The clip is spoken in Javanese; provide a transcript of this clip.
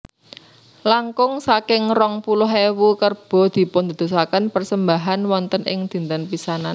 Langkung saking rong puluh ewu kerbo dipundadosaken persembahan wonten ing dinten pisanan